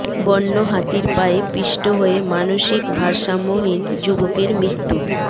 বন্য হাতির পায়ে পিষ্ট হয়ে মানসিক ভারসাম্যহীন যুবকের মৃত্যু